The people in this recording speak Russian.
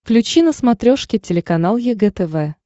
включи на смотрешке телеканал егэ тв